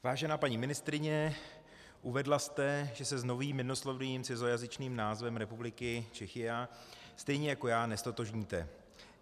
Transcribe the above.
Vážená paní ministryně, uvedla jste, že se s novým jednoslovným cizojazyčným názvem republiky Czechia stejně jako já neztotožníte.